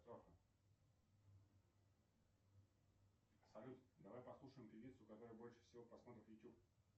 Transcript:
салют давай послушаем певицу у которой больше всего просмотров в ютуб